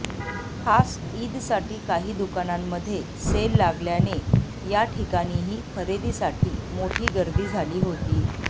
खास ईदसाठी काही दुकानांमध्ये सेल लागल्याने या ठिकाणीही खरेदीसाठी मोठी गर्दी झाली होती